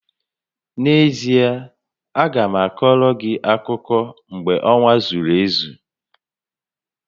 N'ezie, a ga m akoro gị akụkọ mgbe ọnwa zuru ezu